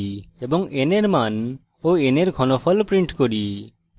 এবং n এর মান of n এর ঘনফল print cube